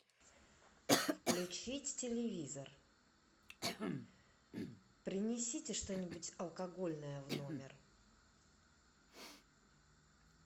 включить телевизор принесите что нибудь алкогольное в номер